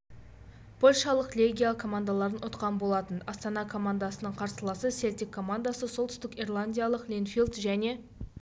польшалық легия командаларын ұтқан болатын астана командасының қарсыласы селтик командасы солтүстік ирландиялық линфилд және